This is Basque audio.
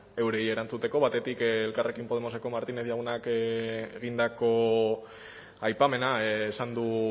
eurei erantzuteko batetik elkarrekin podemoseko martínez jaunak egindako aipamena esan du